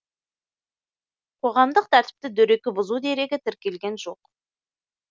қоғамдық тәртіпті дөрекі бұзу дерегі тіркелген жоқ